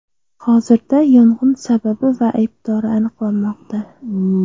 Hozirda yong‘in sababi va aybdori aniqlanmoqda.